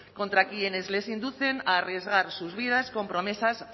contra quienes les inducen a arriesgar sus vidas con promesas